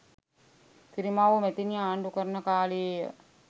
සිරිමාවෝ මැතිණිය ආණ්ඩු කරන කාලයේය.